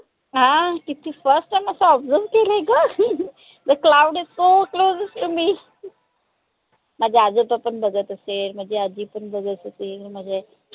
हा किती असं observe केलंय ग the cloud is so closest to me माझे आजोबा पन बघत असेल माझी आजी पन बघत असेल माझे